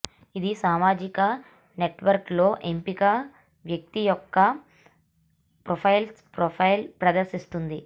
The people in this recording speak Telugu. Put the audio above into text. ఇది సామాజిక నెట్వర్క్ లో ఎంపిక వ్యక్తి యొక్క ప్రొఫైల్ ప్రొఫైల్ ప్రదర్శిస్తుంది